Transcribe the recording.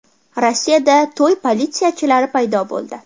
Rossiyada to‘y politsiyachilari paydo bo‘ldi.